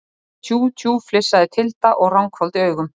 Tjú, tjú, flissaði Tilda og ranghvolfdi augum.